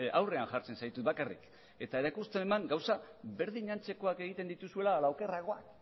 aurrean jartzen zaitut bakarrik eta erakustera eman gauzak berdin antzekoak egiten dituzuela ala okerragoak